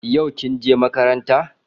Yau kin je makaranta?